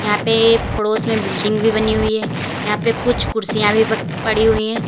यहां पे पड़ोस में बिल्डिंग भी बनी हुई है यहां पे कुछ कुर्सियां भी प पड़ी हुई हैं।